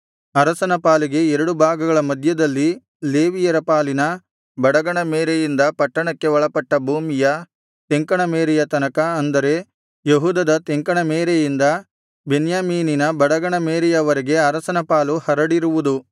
ಅರಸನ ಪಾಲಿನ ಎರಡು ಭಾಗಗಳ ಮಧ್ಯದಲ್ಲಿ ಲೇವಿಯರ ಪಾಲಿನ ಬಡಗಣ ಮೇರೆಯಿಂದ ಪಟ್ಟಣಕ್ಕೆ ಒಳಪಟ್ಟ ಭೂಮಿಯ ತೆಂಕಣ ಮೇರೆಯ ತನಕ ಅಂದರೆ ಯೆಹೂದದ ತೆಂಕಣ ಮೇರೆಯಿಂದ ಬೆನ್ಯಾಮೀನಿನ ಬಡಗಣ ಮೇರೆಯವರೆಗೆ ಅರಸನ ಪಾಲು ಹರಡಿರುವುದು